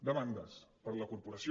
demandes per a la corporació